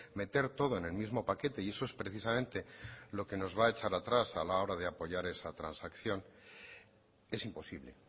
meter todo en el mismo paquete y eso es precisamente lo que nos va a echar atrás a la hora de apoyar esa transacción es imposible